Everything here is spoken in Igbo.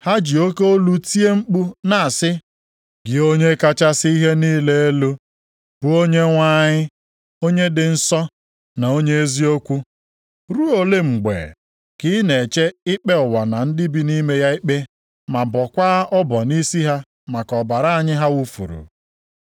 Ha ji oke olu tie mkpu na-asị, “Gị, Onye kachasị ihe niile elu, bụ Onyenwe anyị, onye dị nsọ na onye eziokwu, ruo olee mgbe ka ị na-eche ikpe ụwa na ndị bi nʼime ya ikpe ma bọọkwa ọbọ nʼisi ha maka ọbara anyị ha wufuru?”